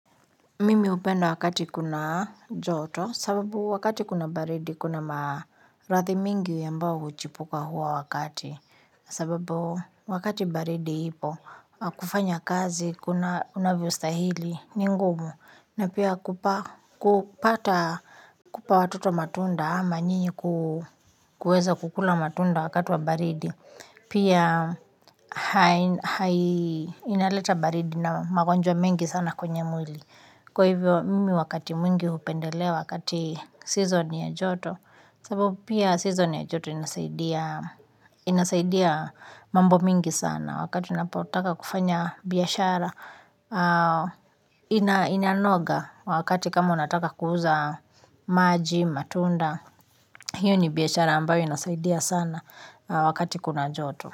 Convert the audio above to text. Mimi hupenda wakati kuna joto, sababu wakati kuna baridi, kuna maradhi mingi ambayo huchipuka huo wakati. Sababu wakati baridi ipo, kufanya kazi, kunavyo stahili ni ngumu, na pia kupata, kupa watoto matunda ama nini kuweza kukula matunda wakati wa baridi. Pia inaleta baridi na magonjwa mengi sana kwenye mwili. Kwa hivyo mimi wakati mwingi hupendelea wakati season ya joto, sababu pia season ya joto inasaidia mambo mingi sana. Wakati ninapotaka kufanya biashara inanoga wakati kama unataka kuuza maji, matunda, hiyo ni biashara ambayo inasaidia sana wakati kuna joto.